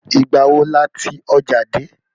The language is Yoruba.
Ìgbà wo la tí ọjà dé?